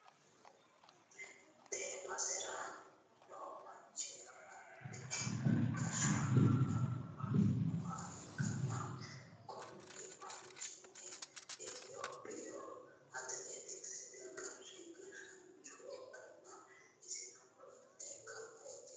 tee basera noo manchi afantino gashshaanonna annuwu nooha ikkanna, kuni manchino itiyoophiyu atileekitikisete qara gashshaancho ikkanna, isino ofolle kawa hige leellanni no.